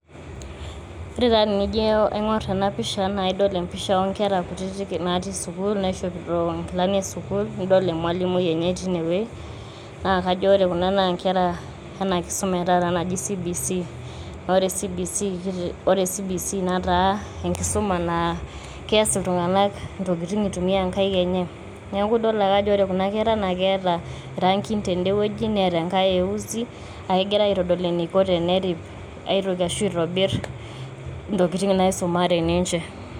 Ore taa tenijo aingor ena pisha naa idol empisha oonkera kutitik natii sukuul ,naishopito nkilani esukuul ,nidol emwalimui enye tine wuei. naa kajo ore kuna naa nkera ena kisuma etaata naji cbc . ore cbc nataa enkisuma naa keas iltunganak ntokitin eitumia nkaik enye niaku idol ake ajo ore kuna kera naa keeta irangin ten`de wueji neeta enkae e uzi naa kegirae aitodol eniko teneri`p aitoki ashu itobir ntokitin naisumare ninche.